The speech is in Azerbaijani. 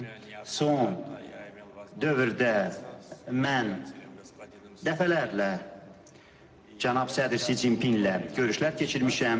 Son dövrdə mən dəfələrlə cənab sədr Si Cinpinlə görüşlər keçirmişəm.